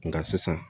Nka sisan